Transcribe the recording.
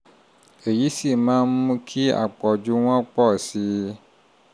èyí sì máa ń mú kí àpọ̀jù wọn pọ̀ sí i